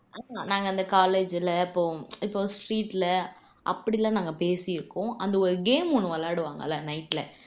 நாங்க அந்த ல இப்போம் இப்போ அப்படியெல்லாம் நாங்க பேசிருக்கோம் அந்த ஒரு game ஒண்ணு விளையாடுவாங்கல்ல night ல